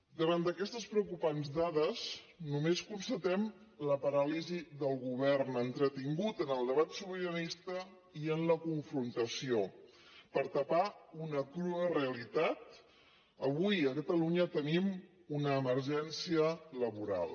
davant d’aquestes preocupants dades només constatem la paràlisi del govern entretingut en el debat sobiranista i en la confrontació per tapar una crua realitat avui a catalunya tenim una emergència laboral